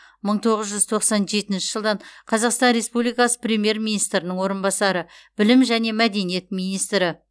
мың тоғыз жүз тоқсан жетінші жылдан қазақстан республикасы премьер министрінің орынбасары білім және мәдениет министрі